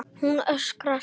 Ég öskra.